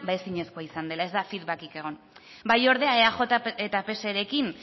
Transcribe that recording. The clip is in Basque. ezinezkoa izan dela ez da feedback egon bai ordea eaj eta pserekin